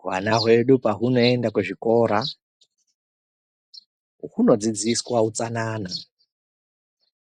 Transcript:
Hwana hwedu pahunoenda kuzvikora hunodzidziswa utsanana